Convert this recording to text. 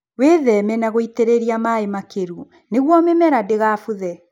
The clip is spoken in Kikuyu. Wĩtheme na gũitĩrĩria maĩ makĩru nĩguo mimera ndĩgabuthe.